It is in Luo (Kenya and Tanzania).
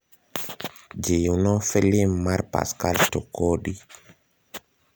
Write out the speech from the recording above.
jiwno filim mar pascal tokodi